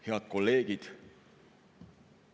Head kolleegid!